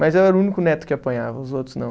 Mas eu era o único neto que apanhava, os outros não.